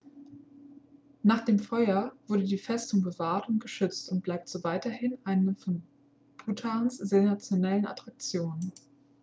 nach dem feuer wurde die festung bewahrt und geschützt und bleibt so weiterhin eine von bhutans sensationellsten attraktionen